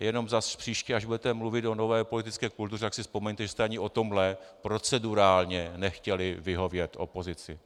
Jenom zas příště, až budete mluvit o nové politické kultuře, tak si vzpomeňte, že jste ani v tomhle procedurálně nechtěli vyhovět opozici.